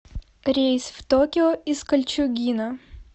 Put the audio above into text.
рейс в токио из кольчугино